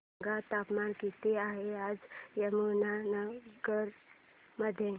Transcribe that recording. सांगा तापमान किती आहे आज यमुनानगर मध्ये